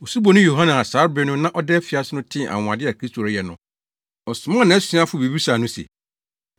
Osuboni Yohane a saa bere no na ɔda afiase no tee anwonwade a Kristo reyɛ no, ɔsomaa nʼasuafo bebisaa no se,